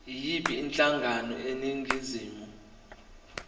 yiyiphi inhlangano eningizimu